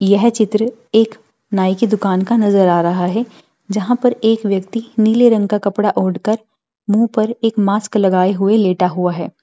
यह चित्र एक नाई की दुकान का नजर आ रहा है जहां पर एक व्यक्ति नीले रंग का कपड़ा ओढ़कर मुंह पे एक मास्क लगाए हुए लेटा हुआ है।